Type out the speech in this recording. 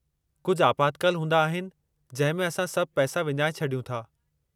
कुझ आपातकाल हूंदा आहिनि जंहिं में असां सभु पैसा विञाए छॾियूं था।